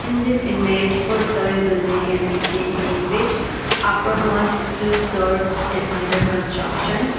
In this image four-storey building can be seen in which uppermost two floor is under construction.